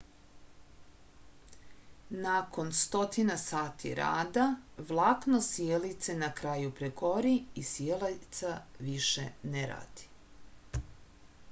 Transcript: nakon stotina sati rada vlakno sijalice na kraju pregori i sijalica više ne radi